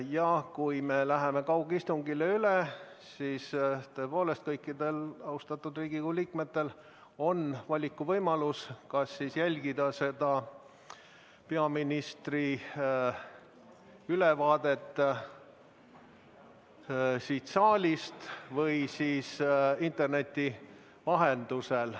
Ja kui me läheme kaugistungitele üle, siis tõepoolest kõikidel austatud Riigikogu liikmetel on valikuvõimalus, kas jälgida peaministri ülevaadet siin saalis või interneti vahendusel.